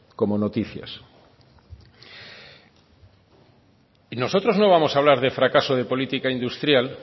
como noticias nosotros no vamos a hablar de fracaso de política industrial